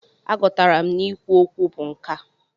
A gụtara m na i kwu okwu bụ nkà.